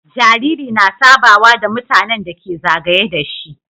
Jariri na sabawa da mutAnan da ke zagaye dashi